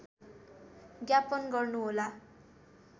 ज्ञापन गर्नुहोला